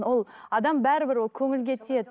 ол адам бәрібір ол көңілге тиеді